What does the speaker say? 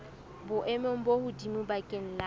boemong bo hodimo bakeng la